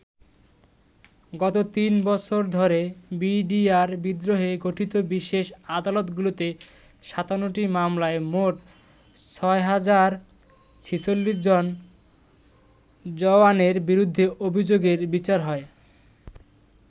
গত তিন বছর ধরে বিডিআর বিদ্রোহে গঠিত বিশেষ আদালতগুলোতে ৫৭টি মামলায় মোট ৬০৪৬জন জওয়ানের বিরুদ্ধে অভিযোগের বিচার হয়।